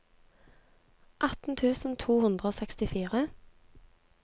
atten tusen to hundre og sekstifire